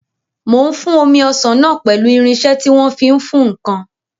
Mò ń fún omi ọsàn náà pẹ̀lú irinsẹ́ tí wọ́n fi ń fún ǹkan